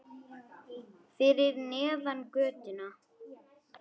Fyrir neðan götuna.